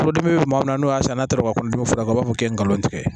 Furudimi bɛ maa min na n'o y'a sɔrɔ n'a taara ko dimi fura u b'a fɔ k'e ngalon tɛ tigɛ